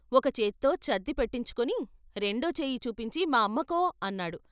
ఒకచేత్తో చద్ది పెట్టించుకుని రెండో చెయ్యి చూపించి మా అమ్మకో అన్నాడు.